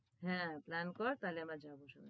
হ্যাঁ plan কর তাহলে আমরা যাবো।